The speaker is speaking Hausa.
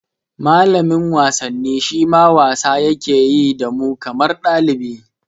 Malamin wasanni shima wasa yake yi da mu kamar ɗalibi